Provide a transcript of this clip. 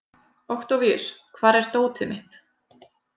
Októvíus, hvar er dótið mitt?